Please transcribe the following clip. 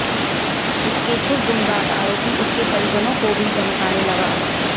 इसके कुछ दिन बाद आरोपी उसके परिजनों को भी धमकाने लगा